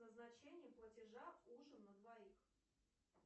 назначение платежа ужин на двоих